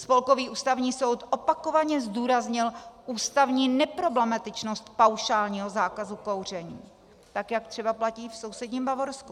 Spolkový ústavní soud opakovaně zdůraznil ústavní neproblematičnost paušálního zákazu kouření, tak jak třeba platí v sousedním Bavorsku.